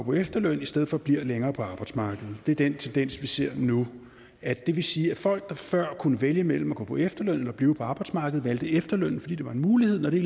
på efterløn i stedet for bliver længere på arbejdsmarkedet det er den tendens vi ser nu det vil sige at folk der før kunne vælge mellem at gå på efterløn eller blive på arbejdsmarkedet valgte efterlønnen fordi det var en mulighed når det